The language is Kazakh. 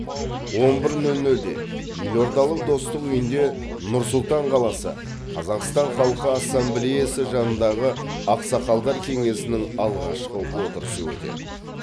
он бір нөл нөлде елордалық достық үйінде нұр сұлтан қаласы қазақстан халқы ассамблеясы жанындағы ақсақалдар кеңесінің алғашқы отырысы өтеді